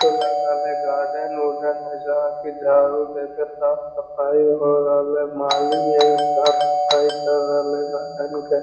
तो लग रहलइ गार्डन उडदेन हई जहाँ के झाड़ू देके साफ़ सफाई हो रहलइ माली हई साफ़ सफ़ाई कर रहलइ गार्डन के |